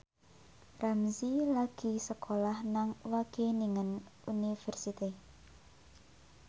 Ramzy lagi sekolah nang Wageningen University